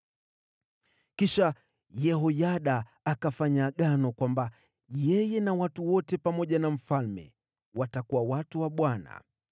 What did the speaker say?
Kisha Yehoyada akafanya agano kwamba yeye na watu wote na mfalme watakuwa watu wa Bwana .